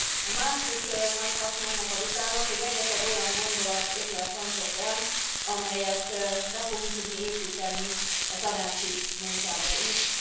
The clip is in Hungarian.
A másik nagy haszna ennek a vitának, hogy rengeteg olyan gondolat, ötlet hangzott el, amelyet be fogunk tudni építeni a tanácsi munkába is.